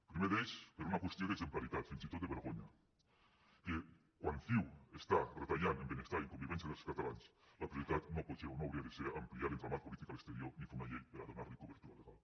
el primer d’ells per una qüestió d’exemplaritat fins i tot de vergonya que quan ciu està retallant en benestar i en convivència dels catalans la prioritat no pot ser o no hauria de ser ampliar l’entramat polític a l’exterior ni fer una llei per a donar li cobertura legal